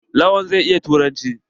Lawan zai iya turanci.